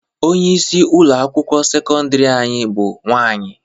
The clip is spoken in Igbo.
Onyeisi ụlọ akwụkwọ sekọndịrị anyị bụ nwaanyị.